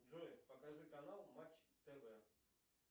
джой покажи канал матч тв